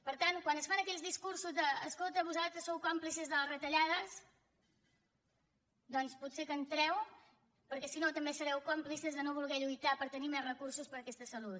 per tant quan es fan aquells discursos d’ escolta vosaltres sou còmplices de les retallades doncs potser que entreu perquè si no també sereu còmplices de no voler lluitar per tenir més recursos per a aquesta salut